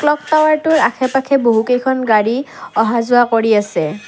Clock টাৱাৰটোৰ আশে-পাখে বহুকেইখন গাড়ী অহা যোৱা কৰি আছে।